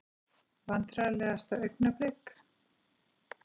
Vandræðalegasta augnablik?